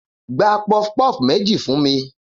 Gba puff puff meji fun mi